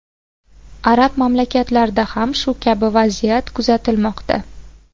Arab mamlakatlarida ham shu kabi vaziyat kuzatilmoqda.